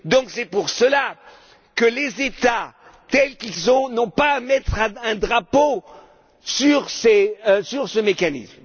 C'est pour cela que les États, tels qu'ils sont, n'ont pas à mettre un drapeau sur ce mécanisme.